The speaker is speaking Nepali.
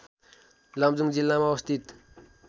लमजुङ जिल्लामा अवस्थित